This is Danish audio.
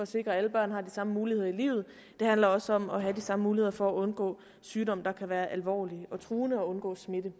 sikre at alle børn har de samme muligheder i livet det handler også om at have de samme muligheder for at undgå sygdomme der kan være alvorlige og truende og undgå smitte